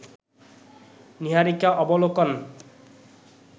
নীহারিকা অবলোকন